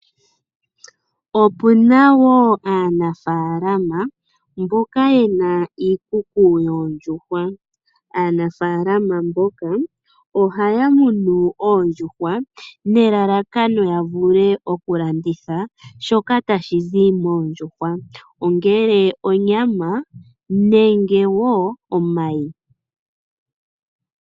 Opuna wo aanafaalama mboka yena iikuku yoondjuhwa, aanafaalama mboka ohaya munu oondjuhwa nelelakano yavule okulanditha shoka tashizi moondjuhwa, ongele onyama nenge wo omayi.